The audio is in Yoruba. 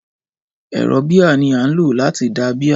Ẹ̀rọ bíà ní a ń lò láti da bíà.